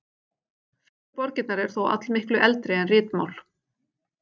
Fyrstu borgirnar eru þó allmiklu eldri en ritmál.